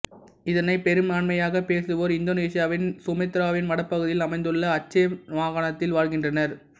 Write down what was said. இதனைப் பெரும்பான்மையாகப் பேசுவோர் இந்தோனேசியாவின் சுமாத்திராவின் வட பகுதியில் அமைந்துள்ள அச்சே மாகாணத்தில் வாழ்கின்றனர்